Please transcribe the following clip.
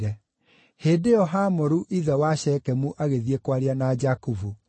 Hĩndĩ ĩyo Hamoru ithe wa Shekemu agĩthiĩ kwaria na Jakubu.